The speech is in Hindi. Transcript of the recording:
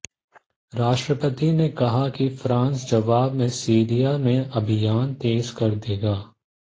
राष्ट्रपति ने कहा कि फ्रांस जवाब में सीरिया में अभियान तेज कर देगा